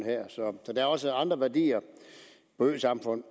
så der er også andre værdier i øsamfund